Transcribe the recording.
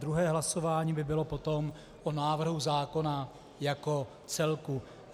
Druhé hlasování by bylo potom o návrhu zákona jako celku.